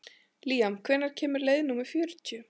Líam, hvenær kemur leið númer fjörutíu?